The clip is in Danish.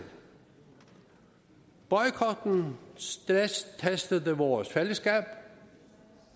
boykotten stresstestede vores fællesskab